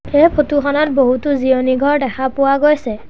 এই ফটো খনত এটা জিৰণি ঘৰ দেখা পোৱা গৈছে।